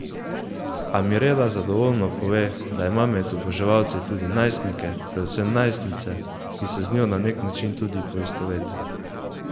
A Mirela zadovoljno pove, da ima med oboževalci tudi najstnike, predvsem najstnice, ki se z njo na nek način tudi poistovetijo.